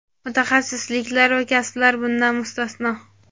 mutaxassisliklar va kasblar bundan mustasno;.